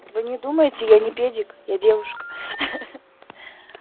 вы не думаете я не педик я девушка хах